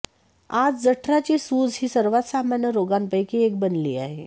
आज जठराची सूज ही सर्वात सामान्य रोगांपैकी एक बनली आहे